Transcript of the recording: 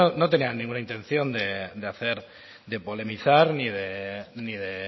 no tenía ninguna intención de hacer de polemizar ni de